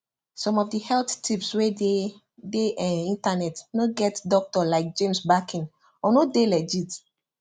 some of the health tips wey dey dey um internet no get doctor like james backing or no dey legit